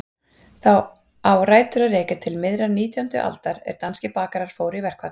Það á rætur að rekja til miðrar nítjándu aldar er danskir bakarar fóru í verkfall.